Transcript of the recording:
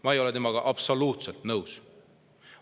Ma ei ole temaga absoluutselt nõus.